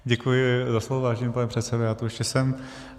Děkuji za slovo, vážený pane předsedo, já tu ještě jsem.